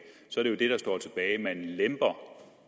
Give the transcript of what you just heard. er at man lemper